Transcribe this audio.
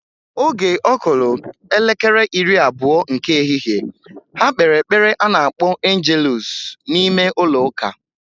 Oge okulu elekere iri-abuo nke ehihe, ha kpere epele anakpo angeluusu na ime-ulo uka.